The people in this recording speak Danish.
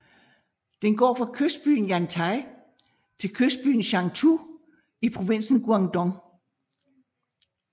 Den går fra kystbyen Yantai til kystbyen Shantou i provinsen Guangdong